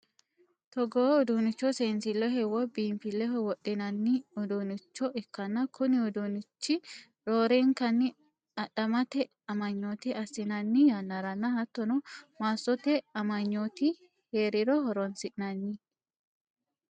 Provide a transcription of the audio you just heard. Togoo uduunnicho seensilleho woy biinfileho wodhinanni uduunnicho ikkanna, kuni uduunnichi roorenkanni adhammete amanyoote assinanni yannaranna hattono, massote amanyooti hee'riro horonsi'nanni.